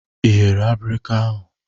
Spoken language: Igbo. Ị ghere abirika ahụ?